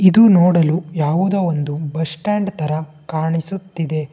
ಇದು ನೋಡಲು ಯಾವುದೋ ಒಂದು ಬಸ್ ಸ್ಟ್ಯಾಂಡ್ ತರ ಕಾಣಿಸುತ್ತಿದೆ.